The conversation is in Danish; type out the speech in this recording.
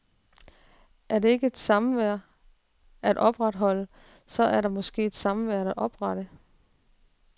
Er der ikke et samvær at opretholde, så er der måske et samvær at oprette.